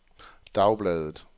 dagbladet